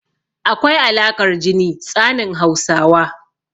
Akwai alaƙar jini tsanin Hausawa.